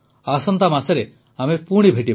ଆସନ୍ତା ମାସରେ ଆମେ ପୁଣି ଭେଟିବା